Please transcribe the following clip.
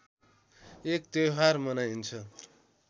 एक त्‍यौहार मनाइन्छ